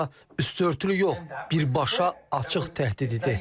Hətta üstüörtülü yox, birbaşa açıq təhdid idi.